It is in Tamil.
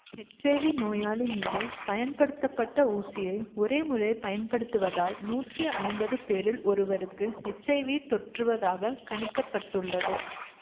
எச் ஐ வி நோயாளி மீது பயன்படுத்தப்பட்ட ஊசியை ஒரே முறை பயன்படுத்துவதால் நூற்றி ஐம்பது பேரில் ஒருவருக்கு எச் ஐ வி தொற்றுவதாகக் கணிக்க பட்டுள்ளது